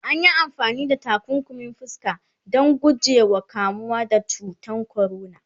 anyi amfani da takunkumin fuska Dan guje wa kamuwa da cutan corona